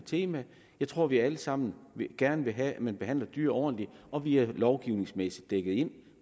tema jeg tror at vi alle sammen gerne vil have at man behandler dyr ordentligt og vi er lovgivningsmæssigt dækket ind